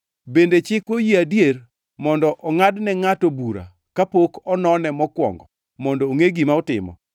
“Bende chikwa oyie adier mondo ongʼad ne ngʼato bura kapok onone mokwongo mondo ongʼe gima otimo?”